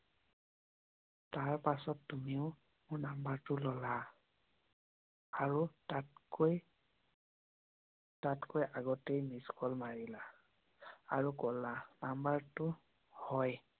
তাৰ পাছত তুমিও মোৰ নম্বৰটো ললা আৰু তাতকৈ আগতে মিছকল মাৰিলা আৰু কলা নম্বৰ টো হয়।